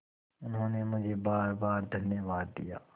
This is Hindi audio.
उन्होंने मुझे बारबार धन्यवाद दिया